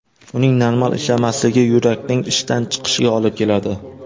Uning normal ishlamasligi yurakning ishdan chiqishiga olib keladi.